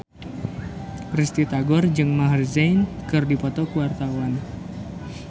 Risty Tagor jeung Maher Zein keur dipoto ku wartawan